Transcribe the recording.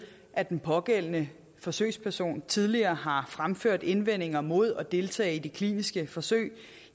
at den pågældende forsøgsperson tidligere har fremført indvendinger mod at deltage i de kliniske forsøg